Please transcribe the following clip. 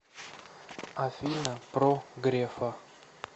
афина про грефа